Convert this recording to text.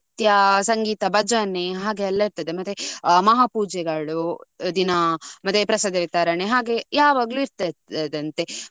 ನೃತ್ಯ, ಸಂಗೀತ, ಭಜನೆ ಹಾಗೆಲ್ಲ ಇರ್ತದೆ. ಮತ್ತೆ ಮಹಾ ಪೂಜೆಗಳು ದಿನ ಮತ್ತೆ ಪ್ರಸಾದ ವಿತರಣೆ ಹಾಗೆ ಯಾವಾಗಲೂ ಇರ್ತದಂತೆ.